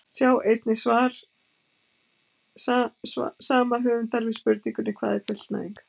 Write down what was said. Sjá einnig svar sama höfundar við spurningunni Hvað er fullnæging?